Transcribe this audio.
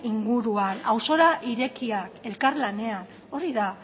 inguruan auzora irekia elkarlanean hori da